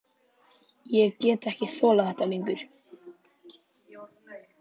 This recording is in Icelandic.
Ég get ekki þolað þetta lengur.